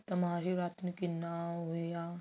ਮਹਾਂ ਸ਼ਿਵਰਾਤਰੀ ਨੂੰ ਕਿੰਨਾ ਹੋਇਆ